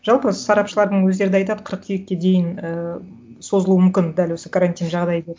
жалпы сарапшылардың өздері да айтады қырқүйекке дейін ііі созылуы мүмкін дәл осы карантин жағдайы деп